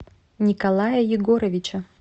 николая егоровича